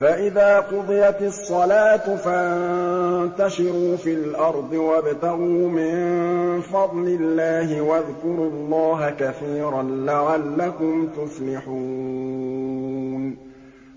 فَإِذَا قُضِيَتِ الصَّلَاةُ فَانتَشِرُوا فِي الْأَرْضِ وَابْتَغُوا مِن فَضْلِ اللَّهِ وَاذْكُرُوا اللَّهَ كَثِيرًا لَّعَلَّكُمْ تُفْلِحُونَ